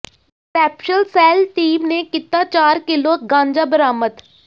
special cell team ਨੇ ਕੀਤਾ ਚਾਰ ਕਿੱਲੋ ਗਾਂਜਾ ਬਰਾਮਦ